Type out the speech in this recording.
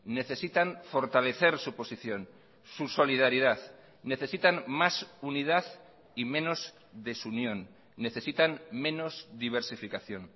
necesitan fortalecer su posición su solidaridad necesitan más unidad y menos desunión necesitan menos diversificación